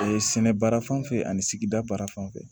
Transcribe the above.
sɛnɛ baara fanfɛ ani sigida baara fanfɛ